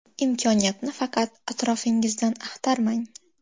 Imkoniyatni faqat atrofingizdan axtarmang.